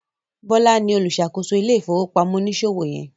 Bola ní oluṣakoso ile-ifowopamọ oniṣòwo yen.